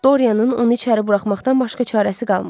Dorianın onu içəri buraxmaqdan başqa çarəsi qalmadı.